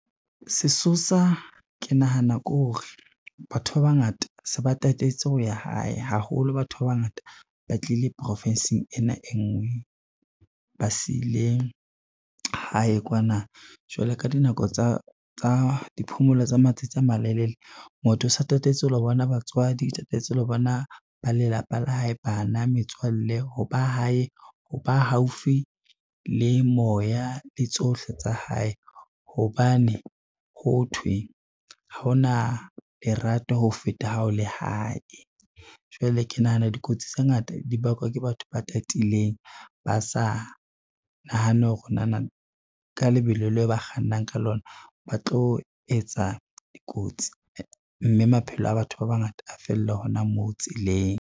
Se sosa ke nahana ke hore batho ba bangata se ba tatetse ho ya hae, haholo batho ba bangata ba tlile profinsing ena e ngwe ba sile hae kwana, jwale ka dinako tsa diphomolo tsa matsatsi a malelele, motho o sa tatetse ho lo bona batswadi, o tatetse ho lo bona ba lelapa la hae bana, metswalle ho ba haufi le moya le tsohle tsa hae, hobane ho thwe haona lerato ho feta ha o le hae. Jwale ke nahana dikotsi tse ngata di bakwa ke batho ba tatileng, ba sa nahane hore nana ka lebelo le ba kgannang ka lona ba tlo etsa dikotsi, mme maphelo a batho ba bangata a fella hona moo tseleng.